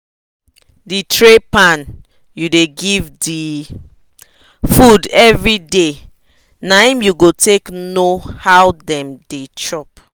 the tray pan u da give the food every day na him u go take know how them da chop